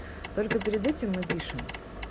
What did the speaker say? только перед этим мы пишем